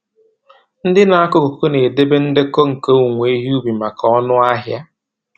Ndị na-akọ koko na-edebe ndekọ nke owuwe ihe ubi maka ọnụahịa.